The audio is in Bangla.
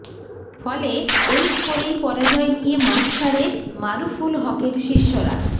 ফলে এই স্কোরেই পরাজয় নিয়ে মাঠ ছাড়ে মারুফুল হকের শিষ্যরা